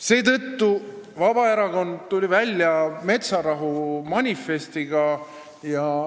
Seetõttu tuli Vabaerakond välja metsarahu manifestiga.